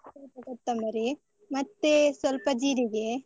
ಸ್ವಲ್ಪ ಕೊತ್ತಂಬರಿ, ಮತ್ತೆ ಸ್ವಲ್ಪ ಜೀರಿಗೆ.